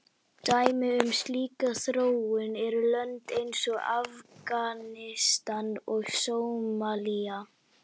Dæmi um slíka þróun eru lönd eins og Afganistan og Sómalía.